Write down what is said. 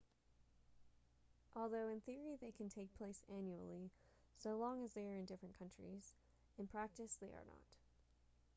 although in theory they can take place annually so long as they are in different countries in practice they are not